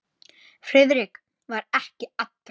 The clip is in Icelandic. Friðrik var ekki allra.